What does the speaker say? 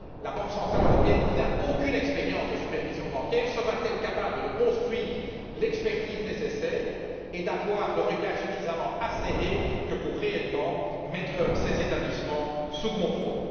La Banque centrale européenne, qui n'a aucune expérience de supervision bancaire, sera t elle capable de construire l'expertise nécessaire et d'avoir un regard suffisamment acéré pour mettre ces établissements véritablement sous contrôle?